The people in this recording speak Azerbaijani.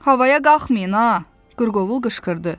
Havaya qalxmayın ha, qırqovul qışqırdı.